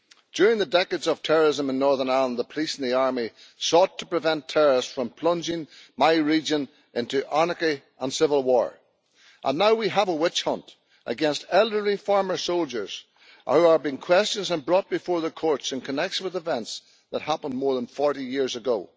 During the decades of terrorism in Northern Ireland, the police and the army sought to prevent terrorists from plunging my region into anarchy and civil war, and now we have a witch-hunt against elderly former soldiers who are being questioned and brought before the courts in connection with events that happened more than 40 years ago.